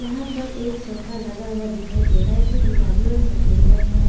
यहां पर एक सोफा लगा हुआ दिखाई दे रहा है जो गुलाबी और सफेद रंग में है।